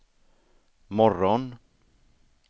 morgon